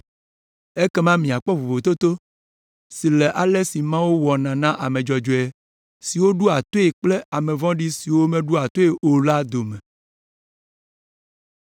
Ekema miakpɔ vovototo si le ale si Mawu wɔna na ame dzɔdzɔe siwo ɖoa toe kple ame vɔ̃ɖi siwo meɖoa toe o la dome.”